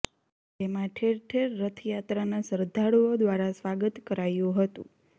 જેમાં ઠેર ઠેર રથયાત્રાના શ્રદ્ધાળુઓ દ્વારા સ્વાગત કરાયું હતું